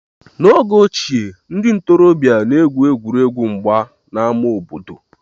N'oge ochie, ndị ntorobịa na-egwu egwuregwu mgba n'ámá obodo